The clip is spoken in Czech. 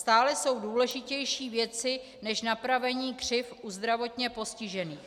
Stále jsou důležitější věci než napravení křivd u zdravotně postižených.